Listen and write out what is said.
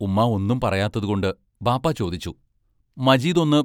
ഉമ്മാ ഒന്നും പറയാത്തതുകൊണ്ട് ബാപ്പാ ചോദിച്ചു; മജീദ് ഒന്നു